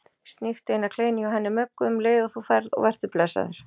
Sníktu eina kleinu hjá henni Möggu um leið og þú ferð og vertu blessaður